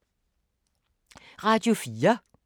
Radio 4